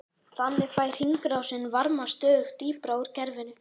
Þannig fær hringrásin varma stöðugt dýpra úr kerfinu.